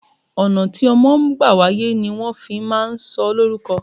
Ọ̀nà tí ọmọ bá gbà wáyé ni wọn fi máa ń sọ ó lórúko.